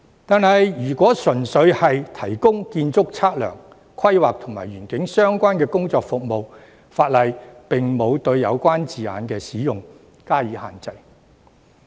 可是，如果純粹只是提供建築測量、規劃及園境相關的工作服務，法例則沒有對有關字眼的使用施加限制。